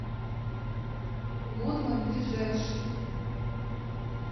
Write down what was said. гудман ближайший